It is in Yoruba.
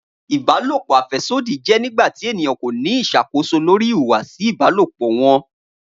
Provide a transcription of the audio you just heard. Ibalopo afẹsodi jẹ nigbati eniyan ko ni iṣakoso lori ihuwasi ibalopo wọn.